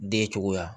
Den cogoya